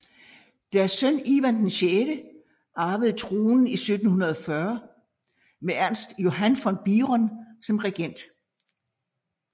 Deres søn Ivan VI arvede tronen i 1740 med Ernst Johann von Biron som regent